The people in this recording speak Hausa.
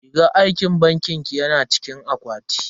Rigar aikin bankin ki yana cikin akwati.